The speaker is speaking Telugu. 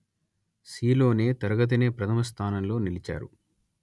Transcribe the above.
సీలోనే తరగతినే ప్రథమ స్థానంలో నిలిచారు